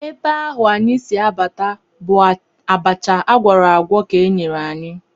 Ebe ahụ anyị si abata bụ abacha a gwọrọ agwọ ka e nyere anyị